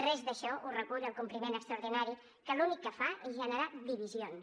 res d’això ho recull el complement extraordinari que l’únic que fa és generar divisions